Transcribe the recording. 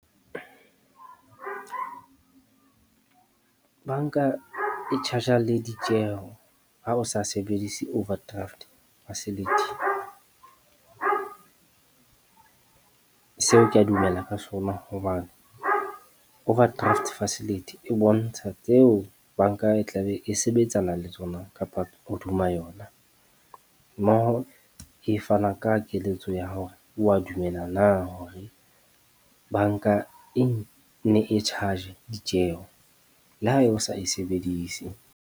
Bank-a e charge-a le ditjeho ha o sa sebedise overdraft facility. Seo kea dumela ka sona hoba overdraft facility e bontsha tseo bank-a e tla be e sebetsana le tsona, kapa hodima yona. Mmoho e fana ka keletso ya hore wa dumela na hore bank-a e ne e charge-e ditjeho le ha e o sa e sebedise.